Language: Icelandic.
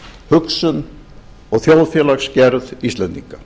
hugsun og þjóðfélagsgerð íslendinga